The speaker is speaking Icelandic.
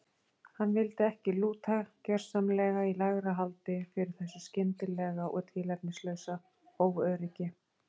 Hann vildi ekki lúta gersamlega í lægra haldi fyrir þessu skyndilega og tilefnislausa óöryggi.